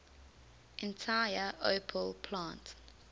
entire opel plant